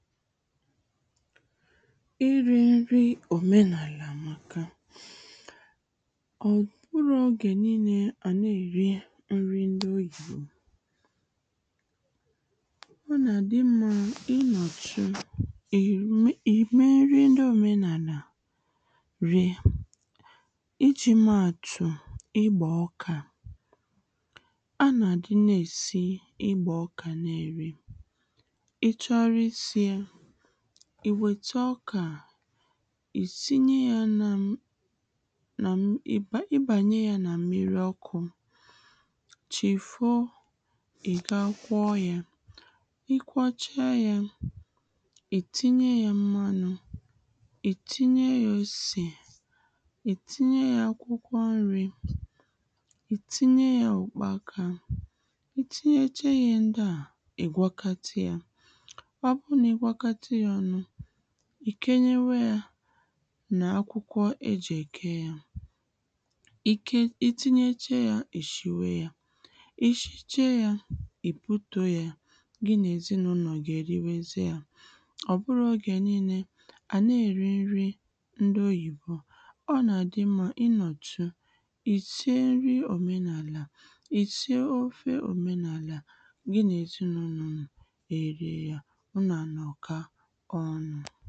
ịrị̄ nrị òmenàlà àmaka ọ bụrọ oge nille a nà-èri nri ndi oyìbo ọ nà àdị mmā ịnọtụ ị̀r-ị̀mee nri ndị òmenàlà rie ịjị̇̄ mee àtù ịgbà ọkà a nà àdị na-èsi ịgbà ọkà ị chọrọ ịsị ye ì wèta ọkà ị sinye ya nā nà..mm̀..ì ba ịbanye yā nà mmiri ọkụ̄ chì fo ị̀ ga kwọ ya ị kwọcha yā ị̀ tinye ya mmanụ̀ ị̀ tinye yā osè ì tinye yā akwụkwọ nrị̄ i tinye yā ùkpakā ị tinye che yē iye ndị à ị̀ gwọkọta yā ọ bu nà ịgwọkọta yā ọnū ì kenyewe yā nà akwụkwọ e jị̀ èke yā ị ke..ị tịnyeche yā ị shiwe yā ị shịche yā ị butùo ye gị nà èzịnulò gị èriwe zie a o bụrọ ọgè nille à na-èri nri ndị oyibo ọ nà-àdị mma ị nọ̀tụ ì shie nrị omenàlà Ì sie ofe òmenàlà gị nà èzịnụlọ nu è rie yā ụnụ à nọka ọnụ